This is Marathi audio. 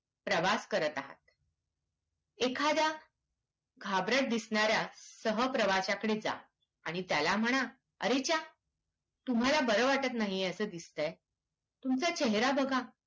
प्रवास करत आहात एखाद्या घाबरट दिसणार्‍या सहप्रवाश्याकडे जा आणि त्याला म्हणा अरेच्या तुम्हाला बर वाटत नाही असा दिसतय तुमचा चेहरा बघा